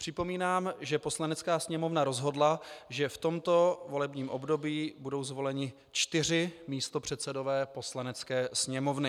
Připomínám, že Poslanecká sněmovna rozhodla, že v tomto volebním období budou zvoleni čtyři místopředsedové Poslanecké sněmovny.